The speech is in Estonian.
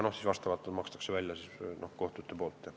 Neid maksavad välja kohtud.